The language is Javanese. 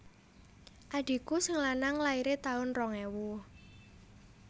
Adhiku sing lanang laire tahun rong ewu